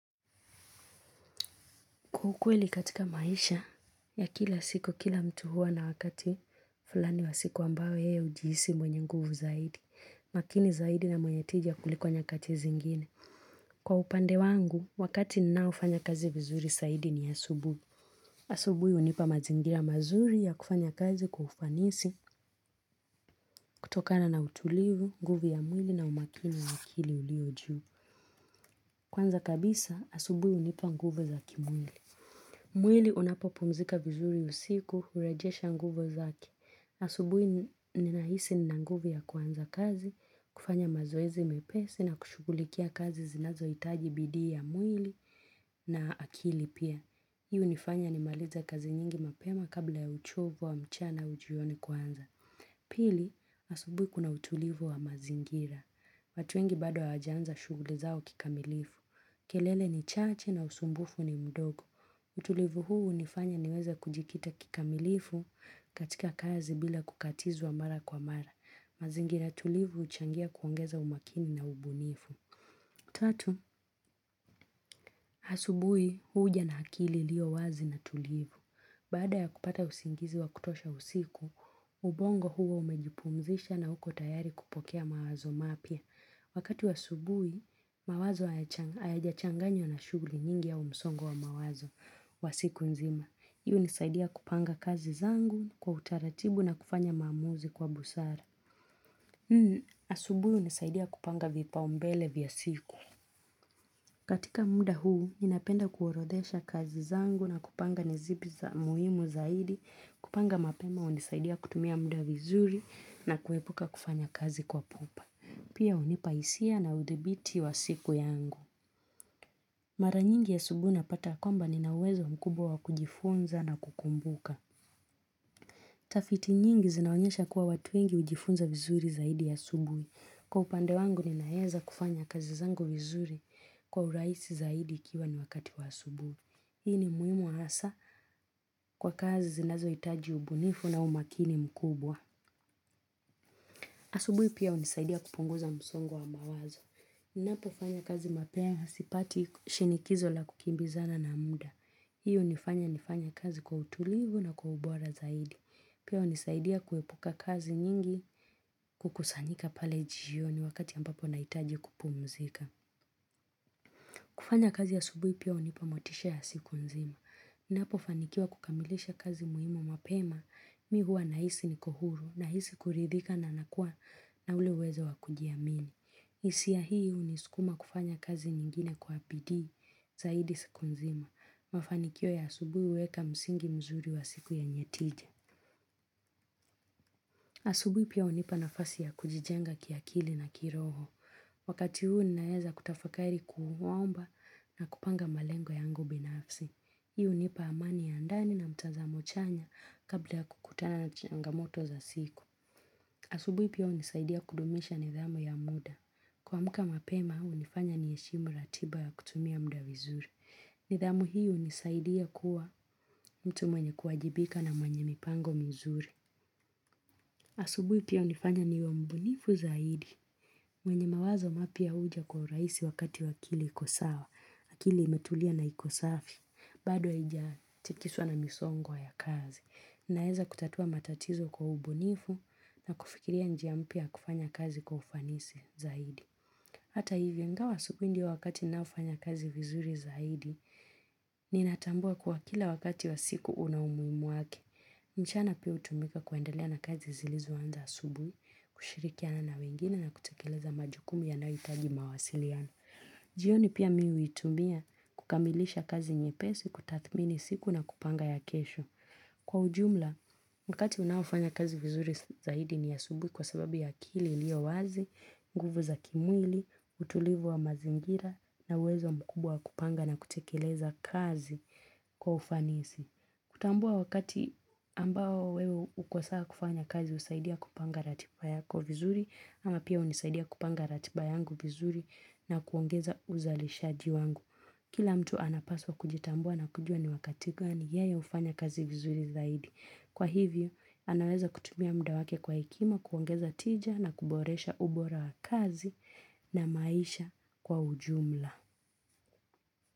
Kwa ukweli katika maisha ya kila siku kila mtu huwa na wakati fulani wa siku ambayo yeye hujihisi mwenye nguvu zaidi. Makini zaidi na mwenye tija kuliko nyakati zingine. Kwa upande wangu, wakati ninaofanya kazi vizuri saidi ni asubuhi. Asubuhi hunipa mazingira mazuri ya kufanya kazi kwa ufanisi kutokana na utulivu, nguvu ya mwili na umakini wa akili uliyo juu. Kwanza kabisa, asubuhi hunipa nguvu za kimwili. Mwili unapo pumzika vizuri usiku, hurejesha nguvu zake. Asubuhi ninahisi ninanguvu ya kwanza kazi, kufanya mazoezi mepesi na kushugulikia kazi zinazoitaji bidii ya mwili na akili pia. Hii hunifanya nimalize kazi nyingi mapema kabla ya uchovu wa mchana hujioni kwanza. Pili, asubuhi kuna utulivu wa mazingira. Watu wengi bado hawaja anza shuguli zao kikamilifu. Kelele ni chache na usumbufu ni mdogo. Utulivu huu hunifanya niweza kujikita kikamilifu katika kazi bila kukatizwa mara kwa mara. Mazingira tulivu huchangia kuongeza umakini na ubunifu. Tatu, asubuhi huja na akili iliyo wazi na tulivu. Baada ya kupata usingizi wa kutosha usiku, ubongo huwa umejipumzisha na uko tayari kupokea mawazo mapya. Wakati wa subuhi, mawazo hayajachanganya na shuguli nyingi au msongo wa mawazo wa siku nzima. Hii hunisaidia kupanga kazi zangu kwa utaratibu na kufanya maamuzi kwa busara. Asubuhi hunisaidia kupanga vipaumbele vya siku. Katika muda huu, ninapenda kuorodhesha kazi zangu na kupanga ni zipi za muhimu zaidi. Kupanga mapema, hunisaidia kutumia muda vizuri na kuepuka kufanya kazi kwa pupa. Pia hunipa hisia na udhibiti wa siku yangu. Mara nyingi asubuhi unapata ya kwamba ninauwezo mkubwa wa kujifunza na kukumbuka. Tafiti nyingi zinaonyesha kuwa watu wengi hujifunza vizuri zaidi asubuhi. Kwa upande wangu ninaeza kufanya kazi zangu vizuri kwa urahisi zaidi ikiwa ni wakati wa asubuhi. Hii ni muhimu hasa kwa kazi zinazoitaji ubunifu na umakini mkubwa. Asubuhi pia hunisaidia kupunguza msongo wa mawazo. Napo fanya kazi mapema sipati shinikizo la kukimbizana na muda. Hiyo hunifanya nifanya kazi kwa utulivu na kwa ubora zaidi. Pia hunisaidia kuepuka kazi nyingi kukusanyika pale jioni wakati ambapo naitaji kupumzika. Kufanya kazi asubuhi pia hunipa motisha ya siku nzima. Ninapo fanikiwa kukamilisha kazi muhimu mapema, mi huwa nahisi niko huru, nahisi kuridhika na nakuwa na ule uwezo wa kujiamini. Hisia hii hunisukuma kufanya kazi nyingine kwa bidii zaidi siku nzima. Mafanikio ya asubuhi huweka msingi mzuri wa siku ya nyetije. Asubuhi pia hunipa nafasi ya kujijenga kiakili na kiroho. Wakati huu ninaeza kutafakari kuomba na kupanga malengo yangu binafsi Hii hunipa amani ya ndani na mtazamo chanya kabla ya kukutana na changamoto za siku asubuhi pia hunisaidia kudumisha nidhamu ya muda kuamka mapema hunifanya ni heshimu ratiba ya kutumia mda vizuri nidhamu hii hunisaidia kuwa mtu mwenye kuajibika na mwenye mipango mzuri asubuhi pia hunifanya niwe mbunifu zaidi mwenye mawazo mapya huja kwa urahisi wakati akili ikosawa, akili imetulia na ikosafi, bado haija chikiswa na misongo ya kazi. Naeza kutatua matatizo kwa ubunifu na kufikiria njia mpya ya kufanya kazi kwa ufanisi zaidi. Hata hivyo, ingawa asubuhi ndiyo wakati ninaofanya kazi vizuri zaidi, ninatambua kuwa kila wakati wa siku una umuhimu wake. Mchana pia hutumika kuendelea na kazi zilizo anza asubuhi, kushirikiana na wengine na kutekeleza majukumu yanayoitaji mawasiliano. Jioni pia mi huitumia kukamilisha kazi nyepesi, kutathmini siku na kupanga ya kesho. Kwa ujumla, wakati ninaofanya kazi vizuri zaidi ni asubuhi kwa sababu ya akili iliyo wazi, nguvu za kimwili, utulivu wa mazingira na uwezo mkubwa wa kupanga na kutekeleza kazi kwa ufanisi. Kutambua wakati ambao wewe uko sawa kufanya kazi husaidia kupanga ratiba yako vizuri ama pia hunisaidia kupanga ratiba yangu vizuri na kuongeza uzalishaji wangu. Kila mtu anapaswa kujitambua na kujua ni wakati gani yeye hufanya kazi vizuri zaidi. Kwa hivyo anaweza kutumia mda wake kwa hekima kuongeza tija na kuboresha ubora wa kazi na maisha kwa ujumla.